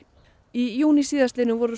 í júní síðastliðnum voru